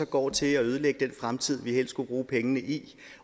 går til at ødelægge den fremtid vi helst skulle bruge pengene i